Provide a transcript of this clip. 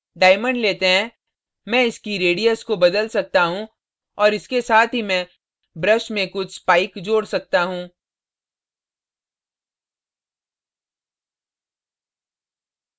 diamond let हैं मैं इसकी radius को बदल सकता हूँ और इसके साथ ही मैं brush में कुछ spikes जोड़ सकता हूँ